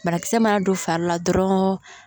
Banakisɛ mana don fari la dɔrɔn